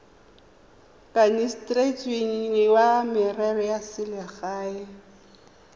kanisitsweng wa merero ya selegae